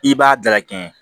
I b'a dalakɛɲɛ